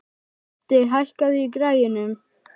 Úddi, hækkaðu í græjunum.